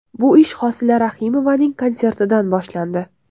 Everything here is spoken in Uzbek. Bu ish Hosila Rahimovaning konsertidan boshlandi.